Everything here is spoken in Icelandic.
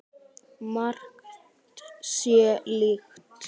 Margt sé líkt.